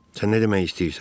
Sən nə demək istəyirsən?